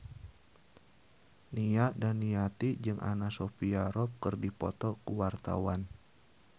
Nia Daniati jeung Anna Sophia Robb keur dipoto ku wartawan